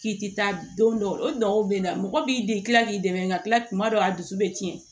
K'i ti taa don dɔw o dɔw be na mɔgɔ b'i de gilan k'i dɛmɛ ka kila tuma dɔw a dusu be tiɲɛ